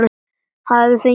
Hafi fengið vinnu í fiski.